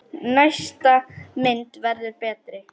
Næsta mynd verður betri!